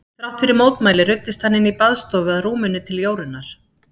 Þrátt fyrir mótmæli ruddist hann inn í baðstofu að rúminu til Jórunnar.